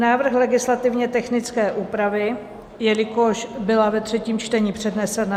Návrh legislativně technické úpravy, jelikož byla ve třetím čtení přednesena.